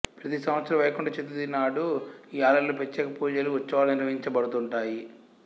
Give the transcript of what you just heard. ప్రతిసంవత్సరం వైకుంఠ్ చతుర్ధశి నాడు ఈ ఆలయంలో ప్రత్యేకపూజలు ఉత్సవాలు నిర్వహించబడుతుంటాయి